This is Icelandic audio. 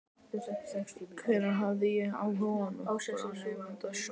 Hvenær hafði ég haft áhuga á nokkrum nema sjálfum mér?